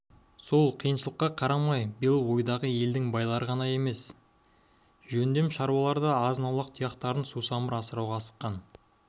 сол қиыншылыққа қарамай биыл ойдағы елдің байлары ғана емес жөндем шаруалары да азын-аулақ тұяқтарын сусамыр асыруға асыққан